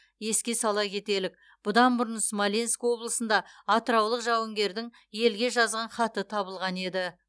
еске сала кетелік бұдан бұрын смоленск облысында атыраулық жауынгердің елге жазған хаты табылған еді